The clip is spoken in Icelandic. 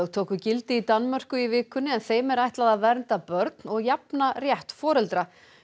tóku gildi í Danmörku í vikunni en þeim er ætlað vernda börn og jafna rétt foreldra